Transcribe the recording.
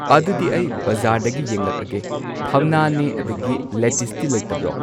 ꯑꯗꯨꯗꯤ ꯑꯩ ꯕꯖꯥꯔꯗꯒꯤ ꯌꯦꯡꯂꯛꯑꯒꯦ ꯊꯝꯅꯥꯅꯦ ꯑꯗꯒꯤ ꯂꯦꯇꯤꯁꯇꯤ ꯂꯩꯇꯕ꯭ꯔꯣ